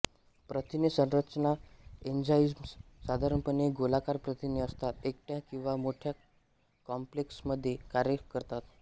प्रथिने संरचना एन्झाइम्स साधारणपणे गोलाकार प्रथिने असतात एकट्या किंवा मोठ्या कॉम्प्लेक्समध्ये कार्य करतात